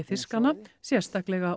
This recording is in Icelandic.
fiskanna sérstaklega